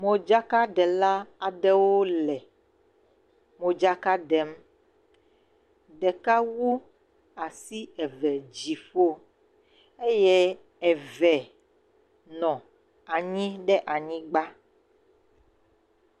Modzakaɖela aɖewo le modzaka ɖem, ɖeka wu asi eve dziƒo eye eve nɔ anyi ɖe anyigba.